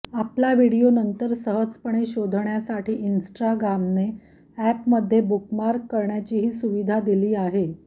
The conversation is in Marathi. आपला व्हिडिओ नंतर सहजपणे शोधण्यासाठी इन्स्टाग्रामने ऍपमध्ये बुकमार्क करण्याचीही सुविधा दिली आहे